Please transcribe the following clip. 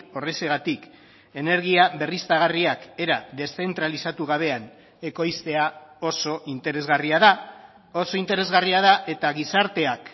horrexegatik energia berriztagarriak era deszentralizatu gabean ekoiztea oso interesgarria da oso interesgarria da eta gizarteak